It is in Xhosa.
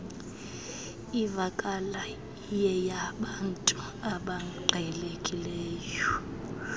ivakala iyeyabantu abaqhelekileyo